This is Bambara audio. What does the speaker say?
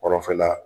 Kɔrɔfɛla